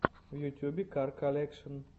в ютюбе кар колекшн